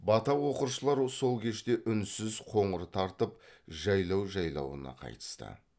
бата оқыршылар сол кеште үнсіз қоңыр тартып жайлау жайлауына қайтысты